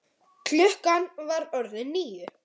Klukkan var orðin níu.